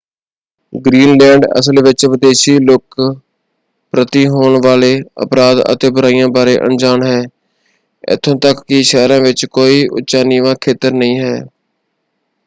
Greenland ਅਸਲ ਵਿੱਚ ਵਿਦੇਸ਼ੀ ਲੋਕਾਂ ਪ੍ਰਤੀ ਹੋਣ ਵਾਲੇ ਅਪਰਾਧ ਅਤੇ ਬੁਰਾਈਆਂ ਬਾਰੇ ਅਣਜਾਣ ਹੈ। ਇੱਥੋਂ ਤੱਕ ਕਿ ਸ਼ਹਿਰਾਂ ਵਿੱਚ ਕੋਈ ਉੱਚਾ-ਨੀਵਾਂ ਖੇਤਰ ਨਹੀਂ ਹੈ।